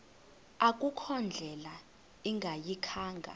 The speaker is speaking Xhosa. akukho ndlela ingayikhaya